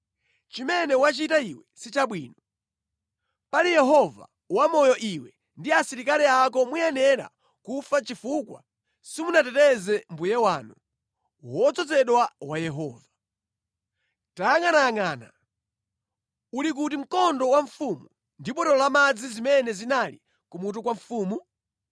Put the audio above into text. Chimene wachita iwe si chabwino. Pali Yehova wamoyo iwe ndi asilikali ako muyenera kufa chifukwa simunateteze mbuye wanu, wodzozedwa wa Yehova. Tayangʼanayangʼana. Uli kuti mkondo wa mfumu ndi botolo lamadzi zimene zinali kumutu kwa mfumu?”